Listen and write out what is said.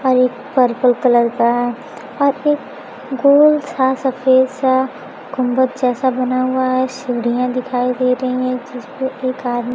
और एक purple colour का और एक गोल सा सफेद सा गुंबद जैसा बना हुआ है सीढ़ियां दिखाई दे रहीं है जिसपे एक आद --